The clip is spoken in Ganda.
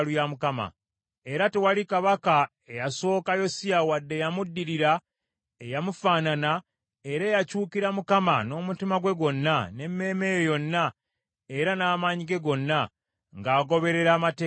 Era tewali kabaka eyasooka Yosiya wadde eyamuddirira eyamufaanana era eyakyukira Mukama n’omutima gwe gwonna, n’emmeeme ye yonna era n’amaanyi ge gonna, ng’agoberera Amateeka ga Musa.